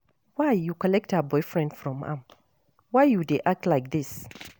Why you collect her boyfriend from am? Why you dey act like dis?